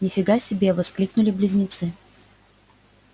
нифига себе воскликнули близнецы